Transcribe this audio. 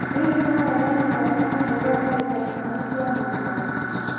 hihi karenda yakwa nĩ yeherio ndagĩka ikũmi cia mũico